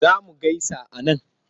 Za mu gaisa a man?